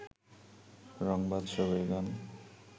রংবাজ ছবির গান